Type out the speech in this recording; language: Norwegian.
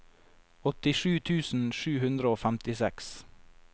åttisju tusen sju hundre og femtiseks